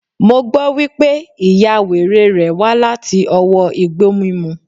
Mo gbọ́ wípé, ìya wèrè rèé wá láti ọwọ́ Igbó mímu.